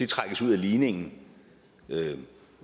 trækkes ud af ligningen